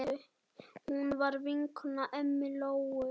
Hún var vinkona ömmu Lóu.